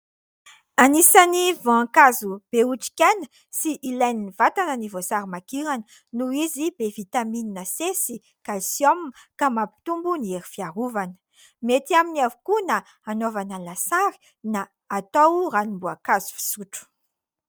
Anisan'ny voankazo be otrikaina sy ilain'ny vatana ny voasarimakirana noho izy be "vitamine C" sy "Calcium" ka mampitombo ny hery fiarovana. Mety aminy avokoa na hanaovana lasary na atao ranom-boankazo fisotro.